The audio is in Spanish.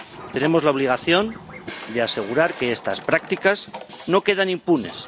Tenemos la obligación de asegurar que estas prácticas no quedan impunes.